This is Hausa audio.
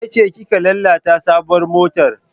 Ke ce kika lalata sabuwar motar?